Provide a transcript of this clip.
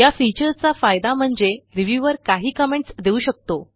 या फीचरचा फायदा म्हणजे रिव्ह्यूअर काही कमेंट्स देऊ शकतो